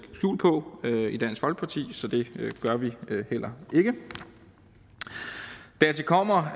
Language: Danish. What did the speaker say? skjul på i dansk folkeparti så det gør vi heller ikke dertil kommer